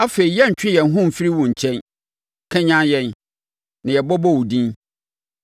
Afei yɛrentwe yɛn ho mfiri wo nkyɛn; kanyane yɛn, na yɛbɛbɔ wo din.